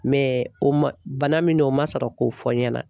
Mɛ o ma bana min o ma sɔrɔ k'o fɔ n ɲɛna.